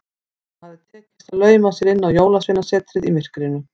Honum hafði tekist að lauma sér inn á Jólasveinasetrið í myrkrinu.